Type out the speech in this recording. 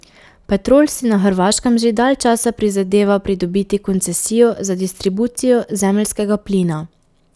Petrol si na Hrvaškem že dalj časa prizadeva pridobiti koncesijo za distribucijo zemeljskega plina.